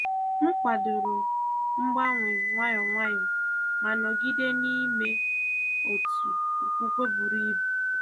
M kwàdòrò mgbanwe nwayọ nwayọ, ma nọgide n’ime otu okwukwe buru ibu.